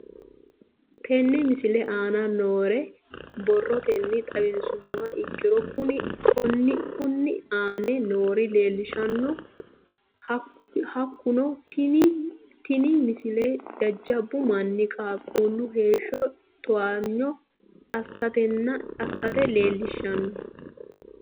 Tenne misile aana noore borrotenni xawisummoha ikirro kunni aane noore leelishano. Hakunno tinni misile jajjabu manni qaaqulu hoshsho towaanyo asitanna leelishshanno.